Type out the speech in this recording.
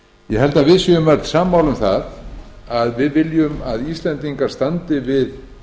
ég held að við séum öll sammála um að við viljum að íslendingar standi við